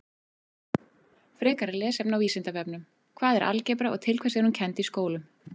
Frekara lesefni á Vísindavefnum: Hvað er algebra og til hvers er hún kennd í skólum?